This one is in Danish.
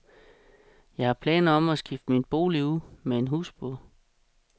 Jeg har planer om at skifte min bolig ud med en husbåd.